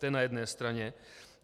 To je na jedné straně.